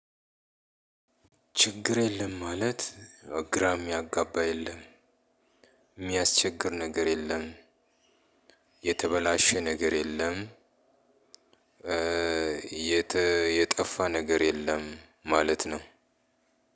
ችግር የለም ማለት ግራ የሚያጋባ የለም የሚያስቸግር ነገር የለም የተበላሸ ነገር የለም። የጠፋ ነገር የለም ማለት ነው።